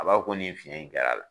A b'a dɔ ko nin fiɛn in kɛra.